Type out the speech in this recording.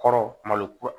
Kɔrɔ malo